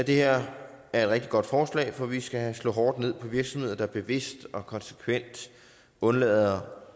her er et rigtig godt forslag for vi skal slå hårdt ned på virksomheder der bevidst og konsekvent undlader